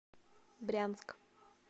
брянск